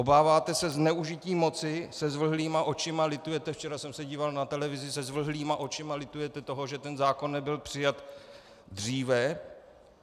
Obáváte se zneužití moci, se zvlhlýma očima litujete, včera jsem se díval na televizi, se zvlhlýma očima litujete toho, že ten zákon nebyl přijat dříve.